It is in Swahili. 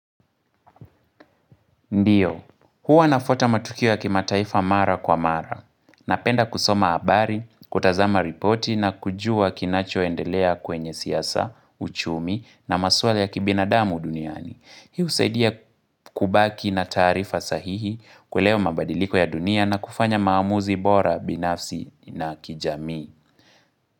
Ndiyo, huwa nafuata matukio ya kimataifa mara kwa mara. Napenda kusoma habari, kutazama ripoti na kujua kinachoendelea kwenye siasa, uchumi na maswala ya kibinadamu duniani. Hii husaidia kubaki na taarifa sahihi kuelewa mabadiliko ya dunia na kufanya maamuzi bora binafsi na kijamii.